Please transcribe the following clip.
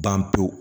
Ban pewu